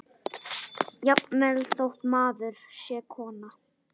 Jafnvel þótt maður sé kona.